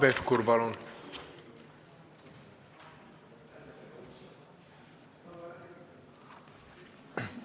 Hanno Pevkur, palun!